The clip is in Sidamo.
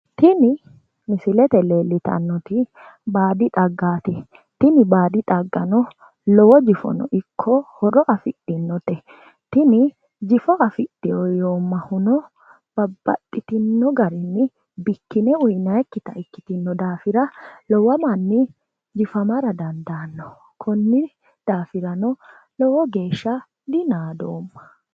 Tini misilete leellitannoti baadi xaggaati. Tini baadi xaggano lowo jifono ikko horo afidhinote. Tini jifo afidhino yoommahuno babbaxxitinno garinni bikkine uyinayikkita ikkitino daafira lowo manni jifamara dandaanno. Konni daafirano lowo geeshsha dinaadoomma.